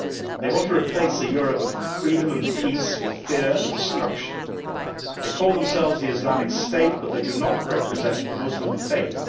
They want to replace a Europe of freedom and peace with fear and destruction. They call themselves the Islamic State but they do not represent the Muslim faith.